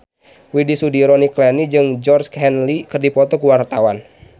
Widy Soediro Nichlany jeung Georgie Henley keur dipoto ku wartawan